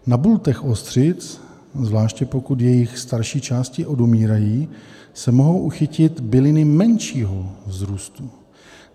Na bultech ostřic, zvláště pokud jejich starší části odumírají, se mohou uchytit byliny menšího vzrůstu.